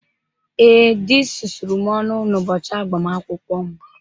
Ee, dị sụsụrụ m ọnụ n'ụbọchị agbamakwụkwọ m?